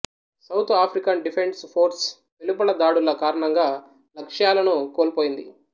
south African defence force వెలుపల దాడుల కారణంగా లక్ష్యాలను కోల్పోయింది